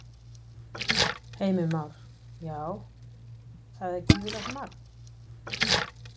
Heimir Már: Já, það er gífurlegt magn?